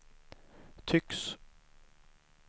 tycks